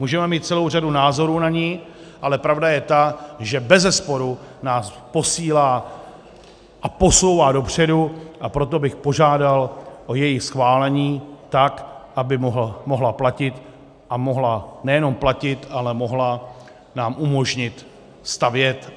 Můžeme mít celou řadu názorů na ni, ale pravda je ta, že bezesporu nás posílá a posouvá dopředu, a proto bych požádal o její schválení tak, aby mohla platit, a mohla nejenom platit, ale mohla nám umožnit stavět.